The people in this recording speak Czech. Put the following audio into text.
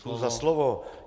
Děkuji za slovo.